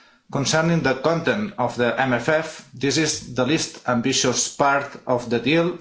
Concerning the content of the MFF this is the least ambitious part of the deal.